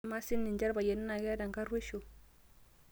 amaa sininche ilpayiani naa keeta enkarruesho